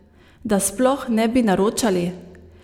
Da sploh ne bi naročali?